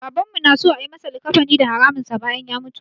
Babanmu na so a yi masa likkafani da haraminsa bayan ya mutu.